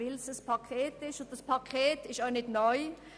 Dieses Paket ist nicht neu.